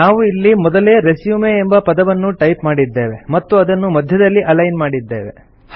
ನಾವು ಇಲ್ಲಿ ಮೊದಲೇ ರೆಸ್ಯೂಮ್ ಎಂಬ ಪದವನ್ನು ಟೈಪ್ ಮಾಡಿದ್ದೇವೆ ಮತ್ತು ಅದನ್ನು ಮಧ್ಯದಲ್ಲಿ ಅಲೈನ್ ಮಾಡಿದ್ದೇವೆ